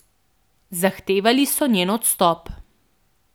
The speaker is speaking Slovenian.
Zahtevali so njen odstop.